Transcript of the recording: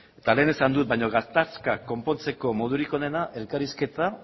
eta lehen esan dut baina gatazka konpontzeko modurik onena elkarrizketa